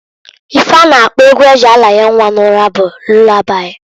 Ife a na-akpo egwu eji aranye nnwa n'ụra bụ lulabai.